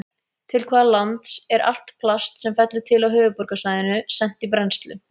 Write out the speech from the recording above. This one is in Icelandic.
Til hvaða lands er allt plast sem fellur til á Höfuðborgarsvæðinu sent í brennslu?